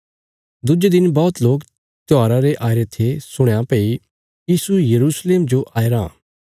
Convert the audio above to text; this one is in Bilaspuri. दुज्जे दिन बौहती लोकें त्योहारा रे आईरे थे सुणया भई यीशु यरूशलेम जो आय राँ